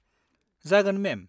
जागोन, मेम।